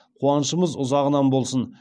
қуанышымыз ұзағынан болсын